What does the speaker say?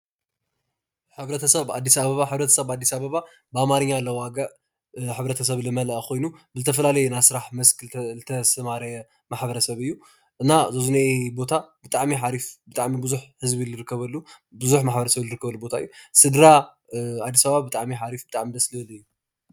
ሕብርትሰብ ኣብ ኣዲስ ኣበባ ሕብረተሰብ ኣብ ኣዲስኣበባ ብኣማርኛ ለዋግዕ ሕበርተሰብ ልመለእ ኮይኑብዝተፋላለየ ናይ ስራሕ ዝተሳማረዎ ሕብረተሰብ እዩ፡፡ እና እዚ ኣብዚ እኒእ ቦታ በዝሒ ማሕብረሰብ ዝርከበሉ ቦታ እዩ፡፡ ስድራ ኣዲስ አበባ ብጣዕሚ እዩ ሓርፍ ብጣዕሚ እዩ ደስ ዝብል እዩ፡፡